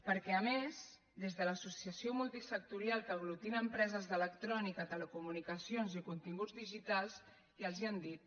perquè a més des de l’associació multisectorial que aglutina empreses d’electrònica telecomunicacions i continguts digitals ja els ho han dit